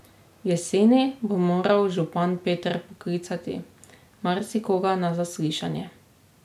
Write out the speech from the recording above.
Jeseni bo moral župan Peter poklicati marsikoga na zaslišanje.